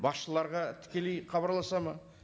басшыларға тікелей хабарласады ма